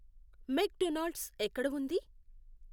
మెక్ Donald's ఎక్కడ ఉంది?